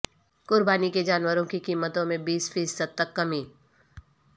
قربانی کے جانوروں کی قیمتوں میں بیس فیصد تک کمی